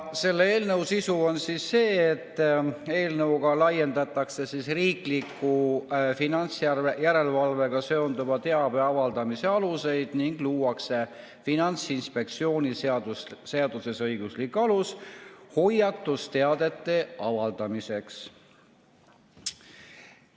Selle eelnõu sisu on see, et laiendatakse riikliku finantsjärelevalvega seonduva teabe avaldamise aluseid ning luuakse Finantsinspektsiooni seaduses õiguslik alus hoiatusteadete avaldamiseks.